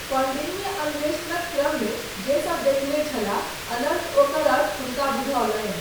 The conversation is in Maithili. कौंडिन्य अन्वेषणक क्रममे जे सब देखने छलाह अनन्त ओकर अर्थ हुनका बुझौलनि।